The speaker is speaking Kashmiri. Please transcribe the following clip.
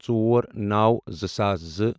ژور نوَ زٕ ساس زٕ